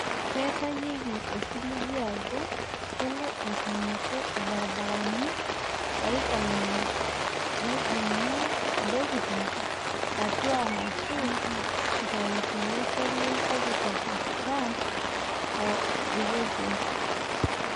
Ketayieki osiligi ajoo keloo aitinyiku ilibasharani ooipangia neitijingu ntokitin atua arashu aitayu to losho le Kopikop Sudan o Ethiopia.